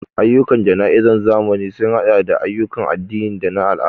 Ayyukan jana'izar zamani sun haɗa da ayyukan addini da na al'ada.